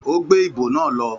Ó gbé ìbo náà lọ